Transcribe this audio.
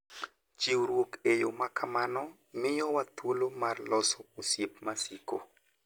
Chiwruok e yo ma kamano miyowa thuolo mar loso osiep masiko.